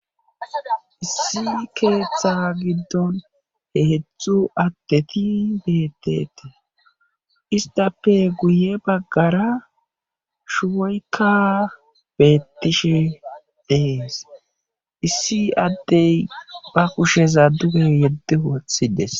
issi keeththa giddon he hedzdzu addeti beettetees isttape guye baggara shuboykka beettishe dees issi addey ba kusheza duge yeddi woothides